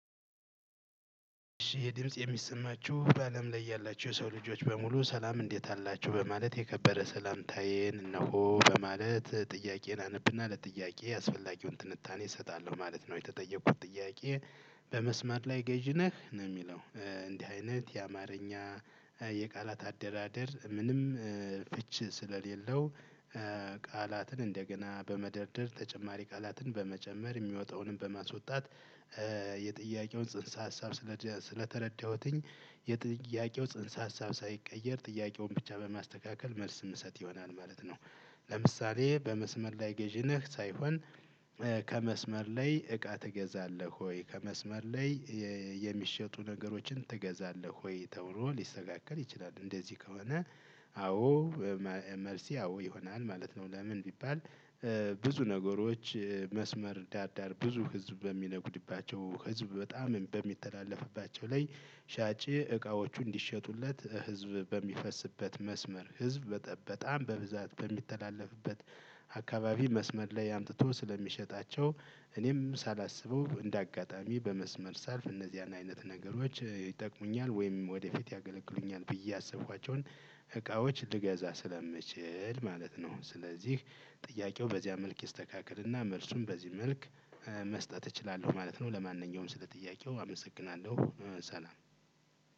የድምጽ የሚሰማችሁ በአለም ላይ ያላችሁ የሰው ልጆች በሙሉ ሰላም እንዴት አላችሁ? በማለት የከበረ ሰላምታዬን እነሆ በማለት ጥያቄን አነብና ለጥያቄ አስፈላጊውን ትንታኔ እሰጣለሁ ማለት ነው? የተጠየቁት ጥያቄ በመስመር ላይ ገዥ ነህ? ነው የሚለው። እንዲህ አይነት የአማርኛ የቃላት አደራደር ምንም ፍች ስለሌለው ቃላትን እንደገና በመደርደር ተጨማሪ ቃላትን በመጨመር የሚወጣውንም በማስወጣት የጥያቄውን ጽንሰ ሀሳብ ስለተረዳሁትኝ የጥያቄው ጽንሰ ሀሳብ ሳይቀየር ጥያቄውን ብቻ በማስተካከል መልስ የምሰጥ ይሆናል ማለት ነው። ለምሳሌ በመስመር ላይ ገዥ ነህ? ሳይሆን ከመስመር ላይ እቃ ትገዛለህ ወይ? ከመስመር ላይ የሚሸጡ ነገሮችን ትገዛለህ ወይ? ተብሎ ሊስተካከል ይችላል። እንደዚህ ከሆነ አዎ መልሴ አዎ ይሆናል ማለት ነው። ለምን ቢባል ብዙ ነገሮች መስመር ዳዳር ብዙ ህዝብ በሚነጉድባቸው ህዝብ በጣም በሚተላለፍባቸው ላይ ሻጭ እቃዎቹ እንዲሸጡለት ህዝብ በሚፈስበት መስመር ህዝብ በጣም በብዛት በሚተላለፍበት አካባቢ መስመር ላይ አምጥቶ ስለሚሸጣቸው እኔም ሳላስበው እንደ አጋጣሚ በመስመር ሳልፍ እነዚህን አይነት ነገሮች ይጠቅሙኛል ወይም ወደፊት ያገለግሉኛል ብዬ ያሰብኳቸውን እቃዎች ልገዛ ስለምችል ማለት ነው። ስለዚህ ጥያቄው በዚያ መልክ ይስተካከልና መልሱን በዚህ መልክ መስጠት እችላለሁ ማለት ነው። ለማንኛውም ስለ ጥያቄው አመሰግናለሁ። ሰላም።